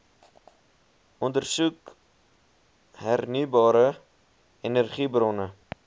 ondersoek hernieubare energiebronne